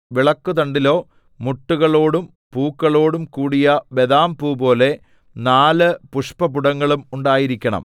വിളക്കുതണ്ടിലോ മുട്ടുകളോടും പൂക്കളോടും കൂടിയ ബദാംപൂപോലെ നാല് പുഷ്പപുടങ്ങളും ഉണ്ടായിരിക്കണം